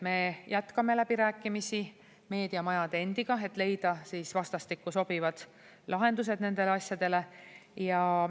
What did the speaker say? Me jätkame läbirääkimisi meediamajade endiga, et leida vastastikku sobivad lahendused nendele asjadele.